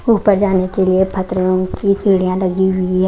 ऊपर जाने के लिए फत्तरी यो की पीड़ियां लगी हुई --